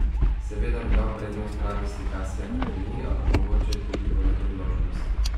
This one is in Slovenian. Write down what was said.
Seveda bi dal prednost pravi slikarski akademiji, ampak mogoče je tudi tole priložnost.